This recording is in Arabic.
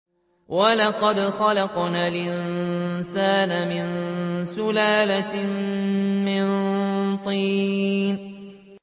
وَلَقَدْ خَلَقْنَا الْإِنسَانَ مِن سُلَالَةٍ مِّن طِينٍ